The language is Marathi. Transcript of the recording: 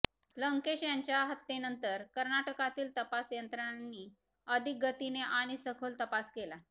लंकेश यांच्या हत्येनंतर कर्नाटकातील तपास यंत्रणांनी अधिक गतीने आणि सखोल तपास केला